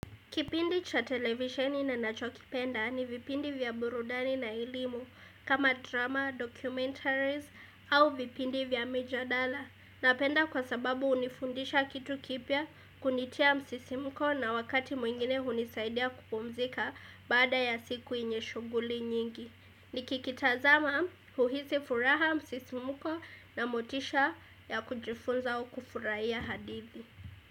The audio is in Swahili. Kipindi cha televisioni ninanacho kipenda ni vipindi vya burudani na elimu kama drama, documentaries au vipindi vya major dollar. Napenda kwa sababu hunifundisha kitu kipya kunitia msisimko na wakati mwingine hunisaidia kupumzika baada ya siku yenye shughuli nyingi. Nikikitazama uhisi furaha msisi mko na motisha ya kujifunza au kufurahia hadithi.